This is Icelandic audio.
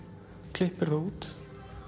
klippir það út